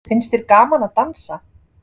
Finnst þér gaman að dansa?